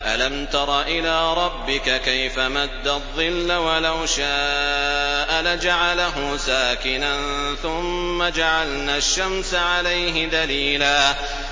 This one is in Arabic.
أَلَمْ تَرَ إِلَىٰ رَبِّكَ كَيْفَ مَدَّ الظِّلَّ وَلَوْ شَاءَ لَجَعَلَهُ سَاكِنًا ثُمَّ جَعَلْنَا الشَّمْسَ عَلَيْهِ دَلِيلًا